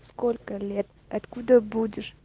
сколько лет откуда будешь